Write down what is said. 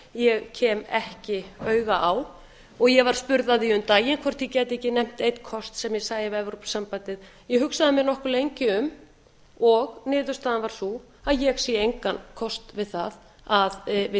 ég kem ekki auga á ég var spurð að því um daginn hvort ég gæti ekki nefnt einn kost sem ég sæi við evrópusambandið ég hugsaði mig nokkuð lengi um og niðurstaðan var sú að ég sé engan kost við það að við